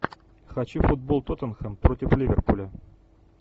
хочу футбол тоттенхэм против ливерпуля